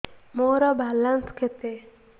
ମୋର ବାଲାନ୍ସ କେତେ